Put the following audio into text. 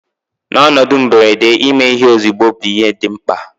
N'ọnọdụ mberede, ime ihe ozugbo bụ ihe dị mkpa